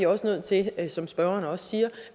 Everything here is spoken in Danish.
nødt til som spørgeren også siger